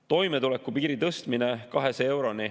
Toimetuleku piiri tõstmine 200 euroni.